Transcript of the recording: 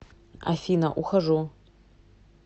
афина ухожу